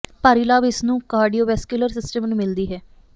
ਭਾਰੀ ਲਾਭ ਇਸ ਨੂੰ ਕਾਰਡੀਓਵੈਸਕੁਲਰ ਸਿਸਟਮ ਨੂੰ ਮਿਲਦੀ ਹੈ